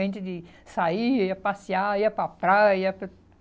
A gente saía, ia passear, ia para a praia.